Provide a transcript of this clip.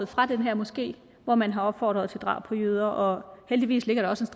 fra den her moské hvor man har opfordret til drab på jøder og heldigvis ligger der også